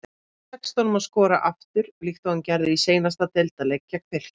Tekst honum að skora aftur líkt og hann gerði í seinasta deildarleik gegn Fylki?